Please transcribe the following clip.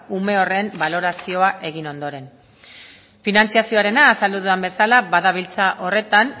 ume horren balorazioa egin ondoren finantzazioarena azaldu dudan bezala badabiltza horretan